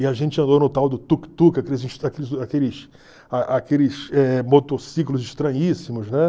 E a gente andou no tal do tuk-tuk, aqueles aqueles a aqueles eh motociclos estranhíssimos, né?